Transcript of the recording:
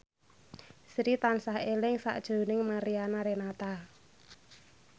Sri tansah eling sakjroning Mariana Renata